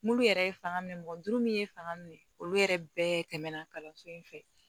Mulu yɛrɛ ye fanga minɛ mɔgɔ duuru min ye fanga minɛ olu yɛrɛ bɛɛ tɛmɛna kalanso in fɛ